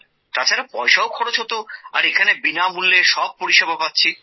তাছাড়া পয়সাও খরচ হতো আর এখানে বিনামূল্যে সব পরিষেবা পাচ্ছি